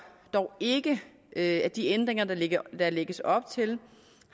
dog ikke at de ændringer der lægges op til